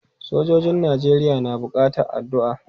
Sojojin Najeriya na buƙatan addu'a.